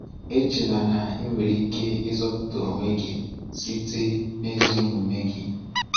Echela na ị nwere ike ịzọpụta onwe gị site n’ezi omume gị.